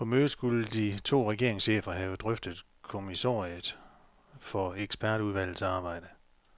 På mødet skulle de to regeringschefer have drøftet kommissoriet for ekspertudvalgets arbejde.